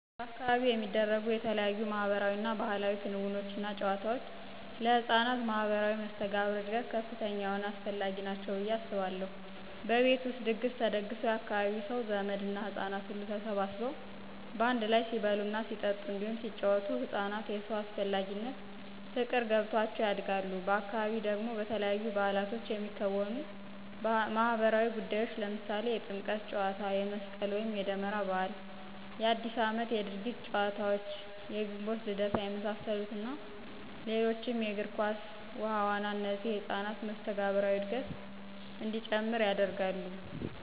በአካባቢው የሚደረጉ የተለያዩ ማህበራዊ እና ባህላዊ ክንውኖች እና ጫወታወች ለህፃናት ማህበራዊ መስተጋብር እድገት ከፍተኛ የሆነ አስፈላጊ ናቸው ብየ አስባለሁ። በቤት ውስጥ ድግስ ተደግሶ የአካባቢው ሰው፣ ዘመድ እና ህጻናት ሁሉ ተሰባስበው በአንድ ላይ ሲበሉ ሲጠጡ እንዲሁም ሲጪወቱ ህፃናት የሰው አስፈላጊነት ፍቅር ገብቷቸው ያድጋሉ፤ በአካባቢ ደግሞ በተለያዩ ባዕላቶች የሚከወኑ ማህበራዊ ጉዳዮች ለምሳሌ የጥምቀት ጫዎታ፣ የመስቅል ወይም የደመራ በዓል፣ የአዲስ አመት የድርጊት ጨዋታዎች፣ የግንቦት ልደታ የመሳሰሉት እና ሌሎችም የግር ኳስ፣ ውሀ ዋና እነዚህ የህፃናትን መስተጋብራዊ እድገት እንዲጨምር ያደርጋሉ።